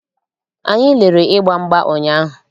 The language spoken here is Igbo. Anyị lerere ịgba mgba ụnyaahụ.